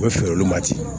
U bɛ feere olu ma ten